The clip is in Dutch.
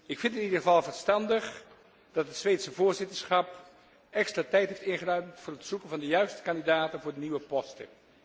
Ik vind het in ieder geval verstandig dat het Zweedse voorzitterschap extra tijd heeft ingeruimd voor het zoeken van de juiste kandidaten voor de nieuwe posten.